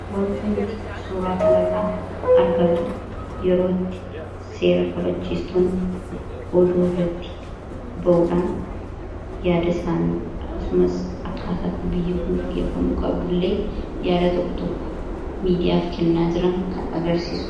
wanta nuti suuraa kanirraa argaa jiru yerootti seera kabachiistoon oduu irratti ba'uudhaan yaada isaanii akkasumas abkaasaatti biyyuu kon geggeffamuu qabdu illee yaada tokko tokko miidiyaaf kennaa jiraan kan agarsiisua